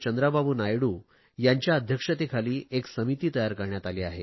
चंद्राबाबू नायडू यांच्या अध्यक्षतेखाली एक समिती तयार करण्यात आली आहे